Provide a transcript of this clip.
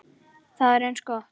Það er eins gott.